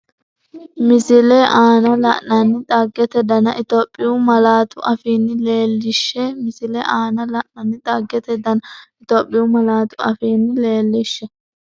Misile aana la’inanni xaggate dana Itophiyu malaatu afiinni leel- lishshe Misile aana la’inanni xaggate dana Itophiyu malaatu afiinni leel- lishshe.